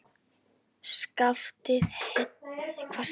Skaftið heillegt að sjá en dökkur viðurinn.